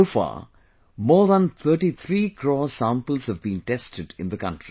So far, more than 33 crore samples have been tested in the country